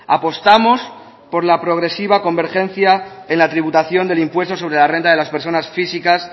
apostamos por la progresiva convergencia en la tributación del impuesto sobre la renta de la personas físicas